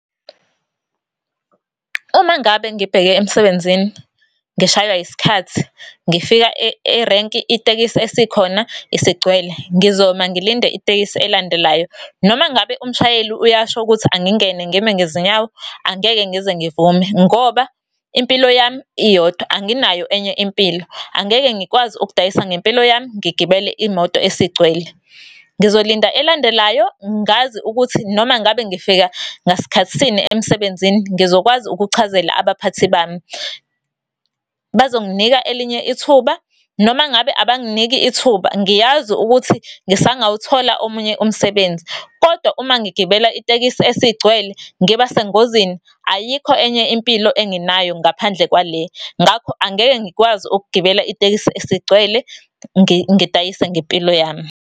Uma ngabe ngibheke emsebenzini ngishaywa isikhathi, ngifika erenki itekisi esikhona isigcwele ngizoma ngilinde itekisi elandelayo noma ngabe umshayeli uyasho ukuthi angingene ngime ngezinyawo angeke ngize ngivume. Ngoba impilo yami iyodwa anginayo enye impilo. Angeke ngikwazi ukudayisa ngempilo yami ngigibele imoto esigcwele. Ngizolinda elandelayo ngazi ukuthi noma ngabe ngifika ngasikhathisini emsebenzini ngizokwazi ukuchazela abaphathi bami. Bazonginika elinye ithuba noma ngabe abanginiki ithuba, ngiyazi ukuthi ngisangawuthola omunye umsebenzi. Kodwa uma ngigibela itekisi esigcwele ngibasengozini ayikho enye impilo enginayo ngaphandle kwale. Ngakho angeke ngikwazi ukugibela itekisi esigcwele ngidayise ngempilo yami.